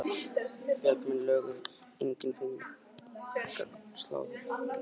Félagsmenn lögðu til engjar og fengu menn til að slá þær þegar tími gafst.